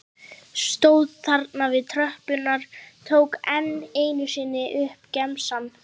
Stóð þarna við tröppurnar, tók enn einu sinni upp gemsann.